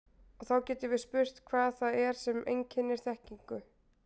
Og þá getum við spurt hvað það er sem einkennir þekkingu.